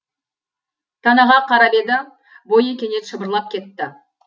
танаға қарап еді бойы кенет шымырлап кетті